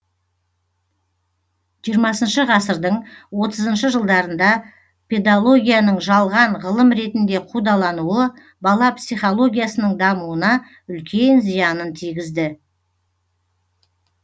жиырмасыншы ғасырдың отызыншы жылдарында педалогияның жалған ғылым ретінде қудалануы бала психологиясының дамуына үлкен зиянын тигізді